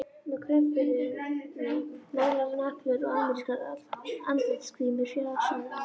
Með krullupinna, málaðar neglur og amerískar andlitsgrímur, fjasaði afi.